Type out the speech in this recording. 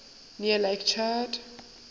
near lake chad